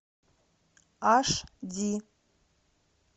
аш ди